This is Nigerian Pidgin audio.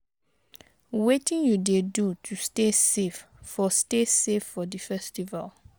Wetin you dey do to stay safe for stay safe for di festival?